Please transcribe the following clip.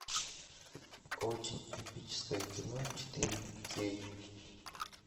очень эпическое кино четыре кей